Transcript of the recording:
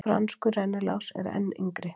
franskur rennilás er enn yngri